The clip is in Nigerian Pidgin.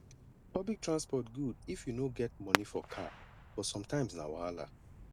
public transport good if you no get money for car but sometimes na wahala